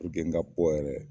n ka bɔ yɛrɛ